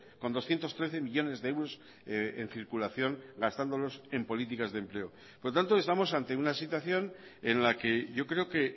con doscientos trece millónes de euros en circulación gastándolos en políticas de empleo por tanto estamos ante una situación en la que yo creo que